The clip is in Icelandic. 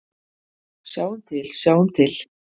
Sjáum til, sjáum til.